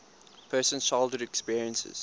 person's childhood experiences